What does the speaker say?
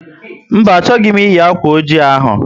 Mba, achọghị m eyi akwa oji ahụ